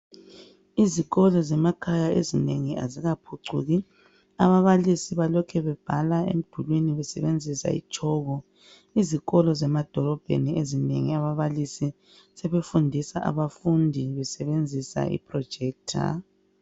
Izikolo zemakhaya ezinengi azikaphucuki ababalisi balokhe bebhala emdulini besebenzisa itshoko izikolo ezinengi zemadolobheni ababalisi sebefundisa ababalisi besebenzisa ama projector